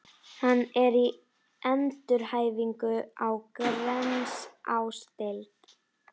Hann er í endurhæfingu á Grensásdeild.